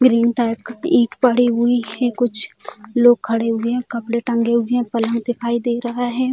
एक ring type ईट पड़ी हुई है कुछ लोग खड़े हुए हैं कपड़े टंगे हुए हैं पलंग दिखाई दे रहा है।